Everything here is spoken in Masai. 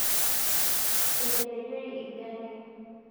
Eetepejori lgalie